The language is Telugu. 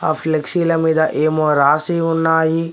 ఆ ఫ్లెక్సీల మీద ఏమో రాసి ఉన్నాయి.